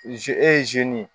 e ye ye